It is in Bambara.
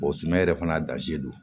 sumana yɛrɛ fana don